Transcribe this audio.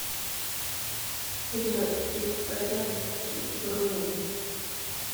прядки в порядке бронь